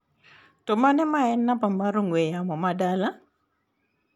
To mane ma en namba ong'ue yamo mar dala?